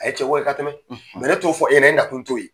A ye cɛko kɛ ka tɛmɛ mɛ ne t'o fɔ e ye.E na kun t'o ye.